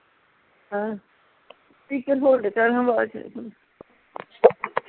ਅਹ speaker hold ਕਰ ਹਾਂਆਵਾਜ